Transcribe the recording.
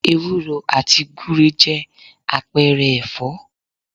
Ewúro àti gúre jẹ́ àpẹẹrẹ ẹ̀fọ́